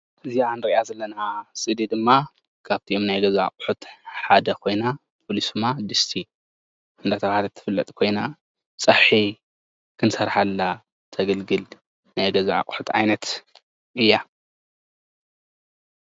እዚኣ ንርእያ ዘለና ስእሊ ድማ ካብቶም ናይ ገዛ ኣቑሑት ሓደ ኾይና ፍሉይ ስማ ድስቲ እንዳተባህለት ትፍለጥ ኮይና ፀብሒ ክንሰርሓላ ተገልግል ናይ ገዛ ኣቑሑት ዓይነት እያ።